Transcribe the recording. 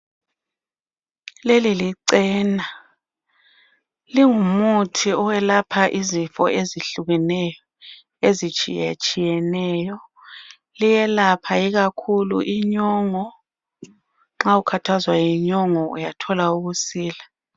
Leli licena lingumuthi owelapha izifo ezihlukeneyo ezitshiyetshiyeneyo. Liyelapha ikakhulu inyongo nxa ukhathazwa yinyongo uyathola ukusila.